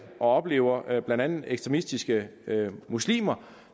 og oplever blandt andet ekstremistiske muslimer